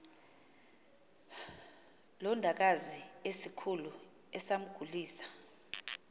londakazi esikhulu esamgulisa